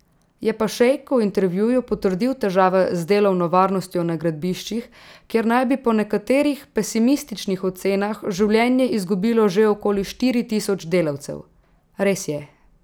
Je pa šejk v intervjuju potrdil težave z delovno varnostjo na gradbiščih, kjer naj bi po nekaterih pesimističnih ocenah življenje izgubilo že okoli štiri tisoč delavcev: 'Res je.